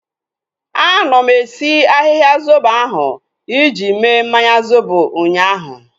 Anọ m esi ahịhịa zobo ahu iji mee mmanya zobo ụnyaahụ